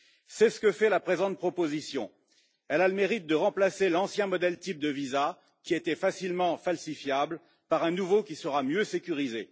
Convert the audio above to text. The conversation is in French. C'est ce que fait la présente proposition elle a le mérite de remplacer l'ancien modèle type de visa, qui était facilement falsifiable, par un nouveau qui sera mieux sécurisé.